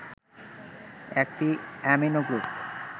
একটি amino group